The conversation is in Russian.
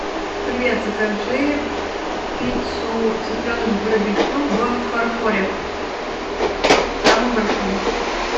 привет закажи пиццу цыпленок барбекю в фарфоре самую большую